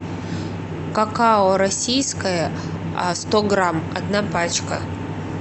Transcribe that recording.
какао российское сто грамм одна пачка